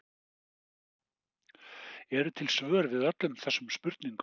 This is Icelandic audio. Eru til svör við öllum þessum spurningum?